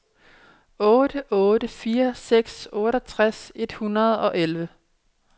otte otte fire seks otteogtres et hundrede og elleve